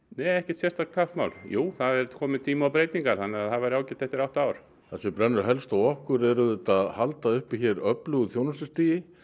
nei ekkert sérstakt kappsmál jú það er kominn tími á breytingar þannig að það væri ágætt eftir átta ár það sem brennur helst á okkur er auðvitað að halda uppi hér öflugu þjónustustigi